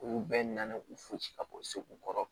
Olu bɛɛ nana u fosi ka bɔ segu kɔrɔ